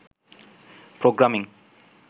programming